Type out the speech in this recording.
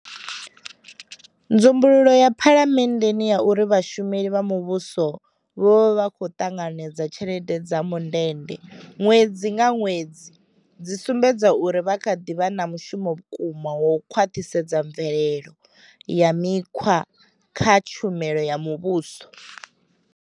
Nzumbululo ya phalamenndeni ya uri vha shumeli vha muvhuso vho vha vha khou ṱanganedza tshelede dza mundende ṅwedzi nga ṅwedzi dzi sumbedza uri ri kha ḓi vha na mushumo vhukuma wa u khwaṱhisedza mvelele ya mikhwa kha tshumelo ya muvhuso.